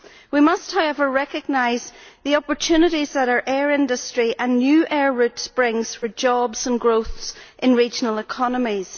We must, however, recognise the opportunities that our air industry and new air routes bring for jobs and growth in regional economies.